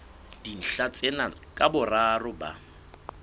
dintlha tsena ka boraro ba